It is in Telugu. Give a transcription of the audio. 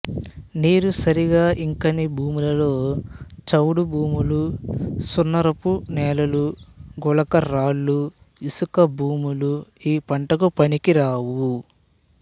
నీరుసరిగా ఇంకని భూముల్లో చవుడు భూములు సున్నారపు నేలలు గులక రాల్లు ఇసుక భూములు ఈ పంటకు పనికి రావు